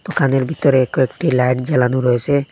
দুকানের ভিতরে কয়েকটি লাইট জ্বালানো রয়েসে।